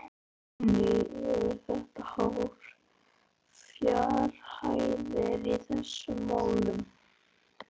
Guðný Helga: Eru þetta háar fjárhæðir í þessum málum?